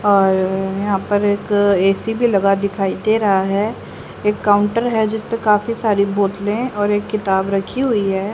और यहां पर एक ए_सी भी लगा दिखाई दे रहा है एक काउंटर है जिसपे काफी सारी बोतले और एक किताब रखी हुई है।